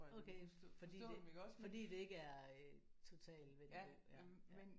Okay fordi det fordi det ikke er øh total vendelbo ja ja